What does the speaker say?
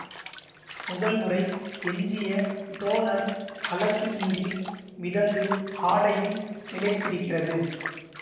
முதல் முறை எஞ்சிய டோனர் அலசு நீரில் மிதந்து ஆடையில் நிலைத்திருக்கிறது